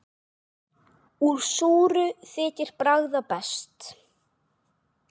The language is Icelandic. Úr súru þykir bragða best.